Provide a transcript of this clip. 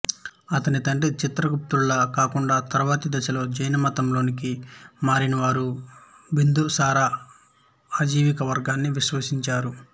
అతని తండ్రి చంద్రగుప్తుడిలా కాకుండా తరువాతి దశలో జైనమతంలోకి మారినవారు బిందుసార అజివిక వర్గాన్ని విశ్వసించారు